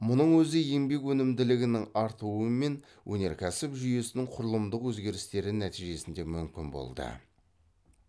мұның өзі еңбек өнімділігінің артуы мен өнеркәсіп жүйесінің құрылымдық өзгерістері нәтижесінде мүмкін болды